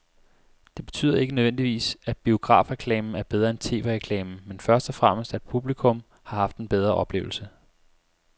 Det betyder ikke nødvendigvis, at biografreklamen er bedre end tv-reklamen, men først og fremmest at publikum har haft en bedre oplevelse.